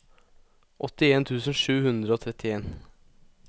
åttien tusen sju hundre og trettien